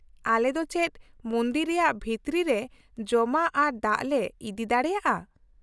-ᱟᱞᱮ ᱫᱚ ᱪᱮᱫ ᱢᱚᱱᱫᱤᱨ ᱨᱮᱭᱟᱜ ᱵᱷᱤᱛᱨᱤ ᱨᱮ ᱡᱚᱢᱟᱜ ᱟᱨ ᱫᱟᱜ ᱞᱮ ᱤᱫᱤ ᱫᱟᱲᱮᱭᱟᱜᱼᱟ ?